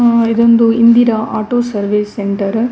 ಆ ಇದೊಂದು Indira auto service centre .